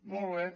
molt bé